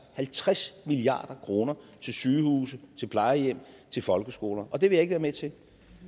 halvtreds milliard kroner til sygehuse til plejehjem til folkeskoler og det vil jeg ikke være med til